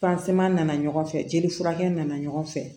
nana ɲɔgɔn fɛ jeli furakɛ nana ɲɔgɔn fɛ